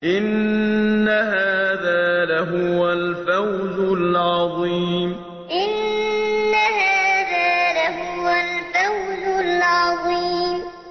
إِنَّ هَٰذَا لَهُوَ الْفَوْزُ الْعَظِيمُ إِنَّ هَٰذَا لَهُوَ الْفَوْزُ الْعَظِيمُ